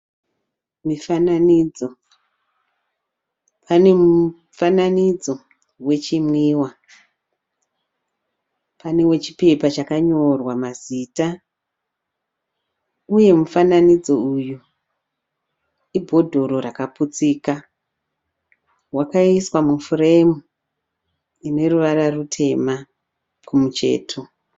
Mifananidzo, pane mufananidzo we chinwiwa, pane we chipepa chakanyorwa maziita uye mufananidzo uyu i bhotoro rakaputsika. Wakaiswa mu furemu ine ruvara rutema kumucheto.